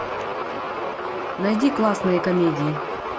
найди классные комедии